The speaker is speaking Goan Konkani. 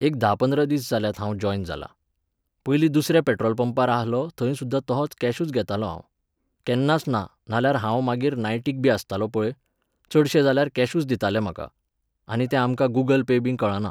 एक धा पंदरा दीस जाल्यात हांव जॉयन जालां. पयलीं दुसऱ्या पेट्रोल पंपार आहलो थंय सुद्दां तोहोंच कॅशूच घेतालों हांव. केन्नाच ना नाल्यार हांव मागीर नायटीक बी आसतालों पळय, चडशे जाल्यार कॅशूच दिताले म्हाका. आनी तें आमकां गुगल पे बी कळना.